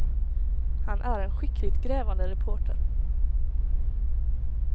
Han är en skickligt grävande reporter.